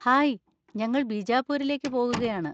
Hi, ഞങ്ങൾ ബിജാപൂരിലേക്ക് പോകുകയാണ്.